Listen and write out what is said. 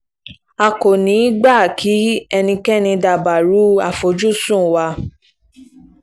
a kò ní í gbà kí ẹnikẹ́ni dabarú àfojúsùn wa